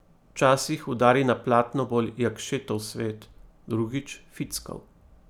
Včasih udari na platno bolj Jakšetov svet, drugič Fickov.